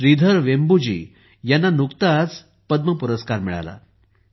श्रीधर वेंबुजी यांना नुकताच पद्म पुरस्कार मिळाला आहे